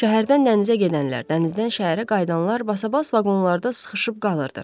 Şəhərdən dənizə gedənlər, dənizdən şəhərə qayıdanlar basabas vaqonlarda sıxışıb qalırdı.